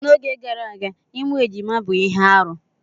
N'oge gara aga ịmụ ejima bụ ihe arụ.